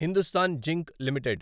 Hindustan Zinc limited